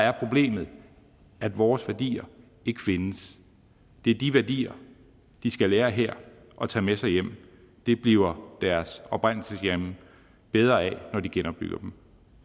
er problemet at vores værdier ikke findes det er de værdier de skal lære her og tage med sig hjem det bliver deres oprindelseslande bedre af når de genopbygger dem